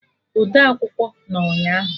Odeakwụkwọ nọ ụnyaahụ